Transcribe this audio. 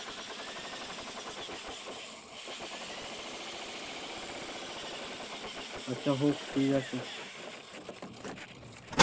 আচ্ছা হোক ঠিক আছে,